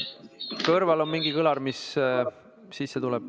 Kõrval on mingi kõlar, mis kõnesse sisse tuleb.